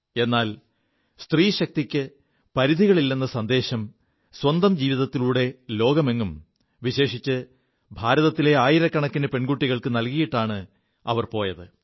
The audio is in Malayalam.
എാൽ സ്ത്രീശക്തിക്ക് പരിധികളില്ലെ സന്ദേശം സ്വന്തം ജീവിതത്തിലുടെ ലോകമെങ്ങും വിശേഷിച്ച് ഭാരതത്തിലെ ആയിരക്കണക്കിന് പെകുികൾക്ക് നൽകിയിാണ് അവർ പോയത്